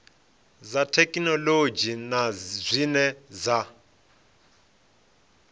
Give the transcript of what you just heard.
dza thekhinolodzhi na zwine dza